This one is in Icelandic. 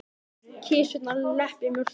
Kisurnar lepja mjólkina.